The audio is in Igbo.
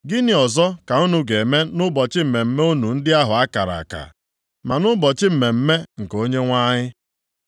Gịnị ọzọ ka unu ga-eme nʼụbọchị mmemme unu ndị ahụ a kara aka, ma nʼụbọchị mmemme nke Onyenwe anyị?